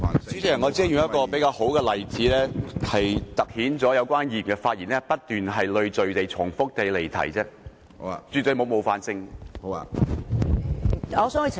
主席，我只是用一個比較好的例子，凸顯有關議員的發言不斷累贅而重複地離題，絕對沒有冒犯性。